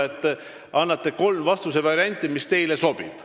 Te annate kolm vastusevarianti, et mis siis sobib.